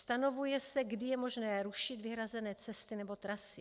Stanovuje se, kdy je možné rušit vyhrazené cesty nebo trasy.